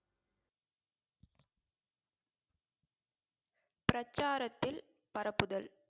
பிரச்சாரத்தில் பரப்புதல்